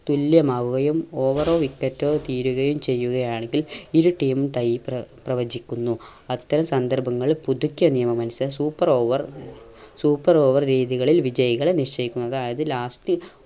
തുല്യമാവുകയും over ഓ wicket ഓ തീരുകയും ചെയ്യുകയാണെങ്കിൽ ഇരു team ഉം tie പ്ര പ്രവചിക്കുന്നു. അത്തരം സന്ദർഭങ്ങളിൽ പുതുക്കിയ നിയമം അനുസ super over super over രീതികളിൽ വിജയികളെ നിശ്ചയിക്കുന്ന അതായത് last